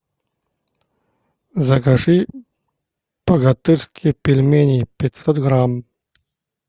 закажи богатырские пельмени пятьсот грамм